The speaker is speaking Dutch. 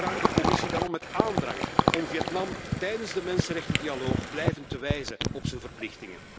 Ik verzoek de Commissie daarom met klem om Vietnam tijdens de mensenrechtendialoog blijvend te wijzen op zijn verplichtingen.